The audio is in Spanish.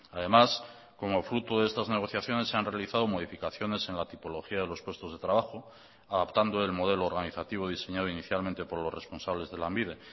además como fruto de estas negociaciones se han realizado modificaciones en la tipología de los puestos de trabajo adaptando el modelo organizativo diseñado inicialmente por los responsables de lanbide